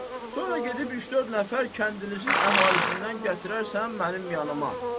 Sonra gedib üç-dörd nəfər kəndinizin əhalisindən gətirərsən mənim yanıma.